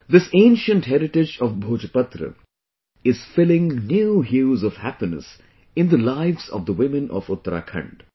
This ancient heritage of Bhojpatra is filling new hues of happiness in the lives of the women of Uttarakhand